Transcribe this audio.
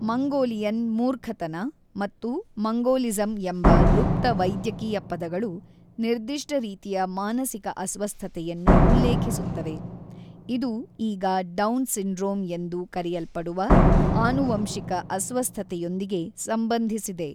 Mongolian ಮೂರ್ಖತನ ಮತ್ತು Mongolism ಎಂಬ ಲುಪ್ತ ವೈದ್ಯಕೀಯ ಪದಗಳು ನಿರ್ದಿಷ್ಟ ರೀತಿಯ ಮಾನಸಿಕ ಅಸ್ವಸ್ಥತೆಯನ್ನು ಉಲ್ಲೇಖಿಸುತ್ತವೆ, ಇದು ಈಗ ಡೌನ್ ಸಿಂಡ್ರೋಮ್ ಎಂದು ಕರೆಯಲ್ಪಡುವ ಆನುವಂಶಿಕ ಅಸ್ವಸ್ಥತೆಯೊಂದಿಗೆ ಸಂಬಂಧಿಸಿದೆ.